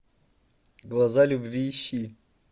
глаза любви ищи